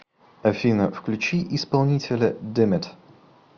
афина включи исполнителя димит